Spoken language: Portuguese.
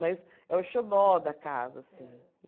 Mas é o xodó da casa, assim.